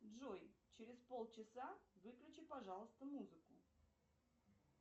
джой через пол часа выключи пожалуйста музыку